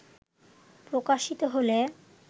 প্রকাশিত হলে